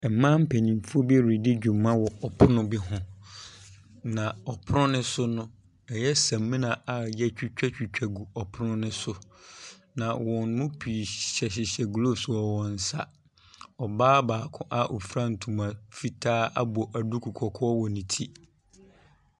Mmaa mpanimfo bi redi dwuma wɔ ɔpono bi ho, na wɔ pono ne so no, ɛyɛ samina a yɛatwitwatwitwa gu ɔpono ne so. Na wɔn mu pii hyehyɛhyehyɛ gloves wɔ wɔn nsa. Ɔbaa baako a ofura ntoma fitaa abɔ duku kɔkɔɔ wɔ ne ti.